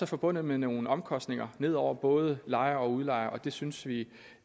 forbundet med nogle omkostninger ned over både lejer og udlejer og det synes vi